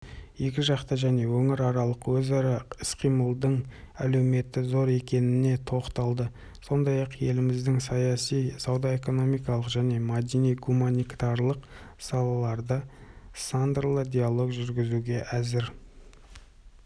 елбасы екіжақты және өңіраралық өзара іс-қимылдың әлеуеті зор екеніне тоқталды сондай-ақ еліміздің саяси сауда-экономикалық және мәдени-гуманитарлық салаларда сындарлы диалог жүргізуге әзір